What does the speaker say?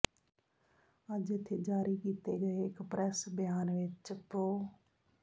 ਅੱਜ ਇਥੇ ਜਾਰੀ ਕੀਤੇ ਗਏ ਇੱਕ ਪ੍ਰੈਸ ਬਿਆਨ ਵਿਚ ਪ੍ਰੋ